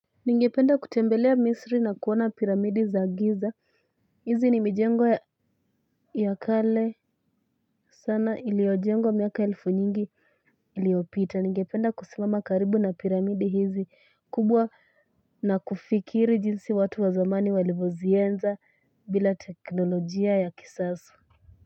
Ningependa kutembelea misri na kuona piramidi za Giza, hizi ni mijengo ya kale sana iliyojengwa miaka elfu nyingi iliyopita. Ningependa kusimama karibu na piramidi hizi kubwa na kufikiri jinsi watu wa zamani walivyozienza bila teknolojia ya kisasa.